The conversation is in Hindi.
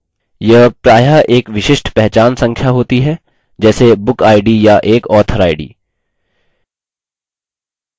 यह प्रायः एक विशिष्ट पहचान संख्या होती है जैसे book id या एक author id